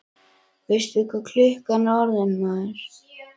Veistu ekki hvað klukkan er orðin, maður?